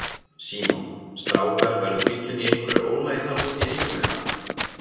Símon: Strákar verður bíllinn í einhverju ólagi þarna úti í Eyjum eða?